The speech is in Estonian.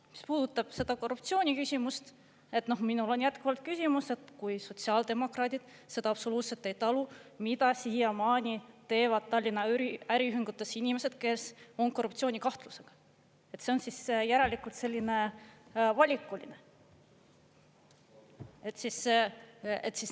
Mis puudutab seda korruptsiooni küsimust, siis minul on jätkuvalt küsimus, et kui sotsiaaldemokraadid seda absoluutselt ei talu, mida siiamaani teevad Tallinna äriühingutes inimesed, kes on korruptsioonikahtlusega, siis see on järelikult selline valikuline.